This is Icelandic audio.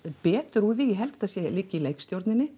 betur úr því ég held þetta liggi í